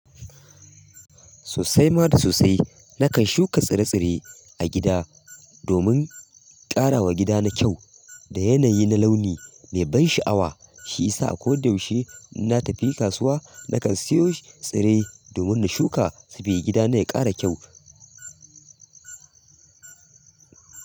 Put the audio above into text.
Sosai ma da sosai nakan shuka tsire-tsire a gida domin ƙarawa gida na kyau. Da yanayi na launi mai ban sha'awa. Shi yasa a ko da yaushe in na tafi kasuwa nakan siyo sh tsire domin na shuka saboda gidana ya ƙara kyau.